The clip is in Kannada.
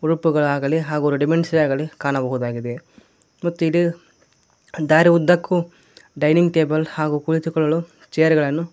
ಗ್ರೂಪುಗಳಾಗಲ್ಲಿ ಹಾಗೂ ರೆಡಿಮೆಂಟ್ಸ್ ಆಗಲಿ ಕಾಣಬಹುದಾಗಿದೆ ಮತ್ತು ಇಲ್ಲಿ ದಾರಿಯುದ್ದಕ್ಕೂ ಡೈನಿಂಗ್ ಟೇಬಲ್ ಹಾಗು ಕುಳಿತುಕೊಳ್ಳಲು ಚೇರ್ ಗಳನ್ನು--